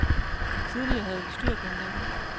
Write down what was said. Tidligere havde vi styr på hinanden.